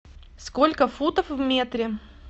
сколько футов в метре